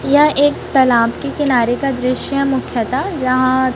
यह एक तालाब के किनारे का दृश्य मुख्ता जहां।